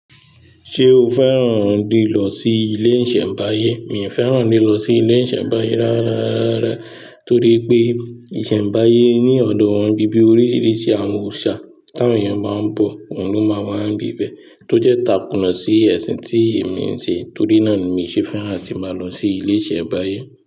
Ṣé o fẹ́ràn lílọ sí ilé ìṣẹ̀mbáyé? Mi ò fẹ́ràn lílọ sí ilé ìṣẹ̀mbáyé rárá, rárá. Torí pé ìṣẹ̀mbáyé ní ọ̀nà wọn bí bí oríṣìíríṣìí àwọn òòṣà tí àwọn èèyàn máa ń bọ̀, wọ́n ló máa wá ń bi bẹ́ẹ̀ tó jẹ́ takùn sí ẹ̀sìn tí èmi ń ṣe. Torí náà ni mi ò ṣe fẹ́ràn tí máa lọ sí ilé ìṣẹ̀mbáyé.